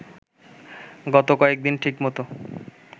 গত কয়েকদিন ঠিক মতো